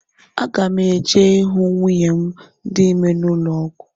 Aga m eje hụ nwunye m dị ime n'ụlọọgwụ.